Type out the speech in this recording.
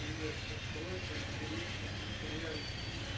привет открой-ка интересненький сериальчик